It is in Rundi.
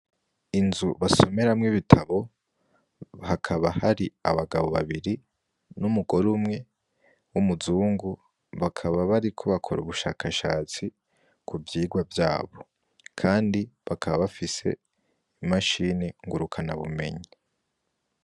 Inzu basomeramwo ibitabo, hakaba hari abagabo babiri n'umugore umwe w'umuzungu bakaba bariko bakor'ubushakashatsi kuvyigwa vyabo kandi bakaba bafise imashine ngurukanabumenyi.